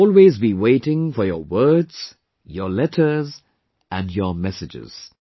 I will always be waiting for your words, your letters and your messages